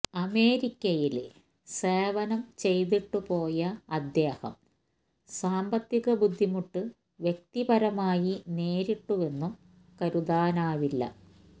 അമേരിക്കയില് സേവനം ചെയ്തിട്ടുപോയ അദ്ദേഹം സാമ്പത്തിക ബുദ്ധിമുട്ട് വ്യക്തിപരമായി നേരിട്ടുവെന്നും കരുതാനാവില്ല